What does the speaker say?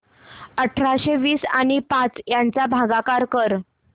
अठराशे वीस आणि पाच यांचा भागाकार कर